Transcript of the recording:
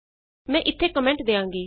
ਮੈਂ ਇਥੇ ਕੋਮੈਂਟ ਦਿਆਂਗੀ